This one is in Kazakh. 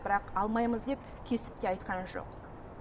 бірақ алмаймыз деп кесіп те айтқан жоқ